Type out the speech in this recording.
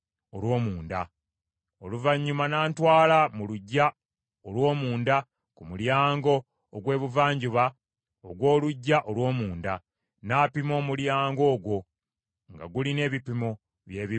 Oluvannyuma n’antwala mu luggya olw’omunda ku mulyango ogw’Ebuvanjuba ogw’oluggya olw’omunda, n’apima omulyango ogwo, nga gulina ebipimo bye bimu ng’emirala.